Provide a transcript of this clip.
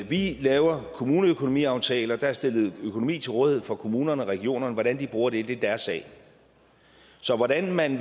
vi laver kommuneøkonomiaftaler der er stillet økonomi til rådighed for kommunerne og regionerne og hvordan de bruger det er deres sag så hvordan man